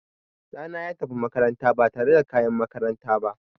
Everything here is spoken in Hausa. Ɗana ya tafi makaranta ba tare da kayan makaranta ba.